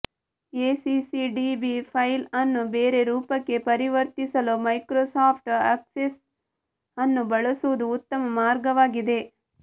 ACCDB file ಅನ್ನು ಬೇರೆ ರೂಪಕ್ಕೆ ಪರಿವರ್ತಿಸಲು ಮೈಕ್ರೋಸಾಫ್ಟ್ ಅಕ್ಸೆಸ್ ಅನ್ನು ಬಳಸುವುದು ಉತ್ತಮ ಮಾರ್ಗವಾಗಿದೆ